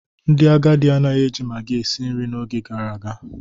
Ndị agadi anaghị eji maggi esi nri n'oge gara aga.